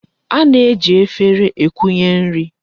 A na-eji efere ekunye nri.